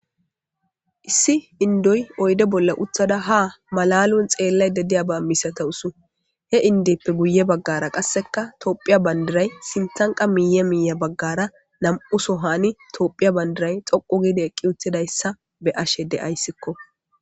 issi indoy oyde bolla uttada ha malalon xeellay dadiya ba misata usu he indeppe guye baggara qasseka toophiya bandiray sintanqa miiye miiya baggara nam7uso hani toophiya bandiray xoqu gide eqqi uttidayssa be ashe de7ayssikko